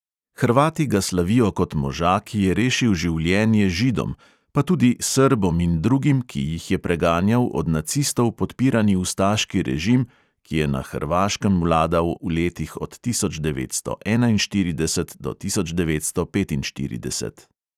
Hrvati ga slavijo kot moža, ki je rešil življenje židom pa tudi srbom in drugim, ki jih je preganjal od nacistov podpirani ustaški režim, ki je na hrvaškem vladal v letih od tisoč devetsto enainštirideset do tisoč devetsto petinštirideset.